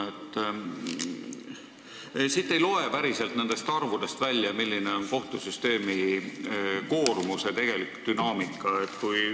Nendest arvudest ei loe päriselt välja, milline on kohtusüsteemi koormuse tegelik dünaamika.